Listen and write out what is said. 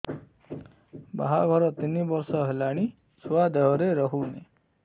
ବାହାଘର ତିନି ବର୍ଷ ହେଲାଣି ଛୁଆ ଦେହରେ ରହୁନି